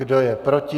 Kdo je proti?